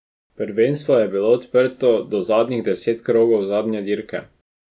Prvenstvo je bilo odprto do zadnjih deset krogov zadnje dirke.